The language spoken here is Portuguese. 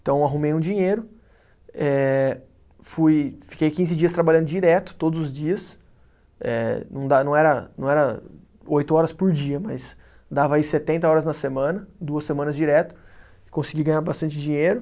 Então eu arrumei um dinheiro, eh fui, fiquei quinze dias trabalhando direto, todos os dias, eh não dá, não era, não era oito horas por dia, mas dava aí setenta horas na semana, duas semanas direto, consegui ganhar bastante dinheiro.